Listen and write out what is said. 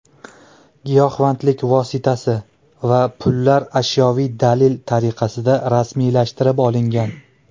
Giyohvandlik vositasi va pullar ashyoviy dalil tariqasida rasmiylashtirib olingan.